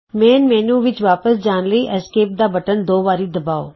ਮੁੱਖ ਮੈਨਯੂ ਵਿਚ ਵਾਪਸ ਜਾਣ ਲਈ ਐਸਕੈਪ ਦਾ ਬਟਨ ਦੋ ਵਾਰੀ ਦਬਾਓ